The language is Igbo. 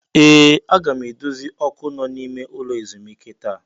Ee! Aga m edozi ọkụ nọ n'ime ụlọ ezumike taa.